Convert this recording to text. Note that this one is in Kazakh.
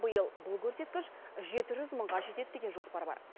биыл бұл көрсеткіш жеті жүз мыңға жетеді деген жоспар бар